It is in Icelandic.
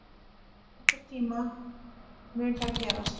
Einhvern tíma mun það gerast.